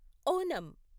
Onam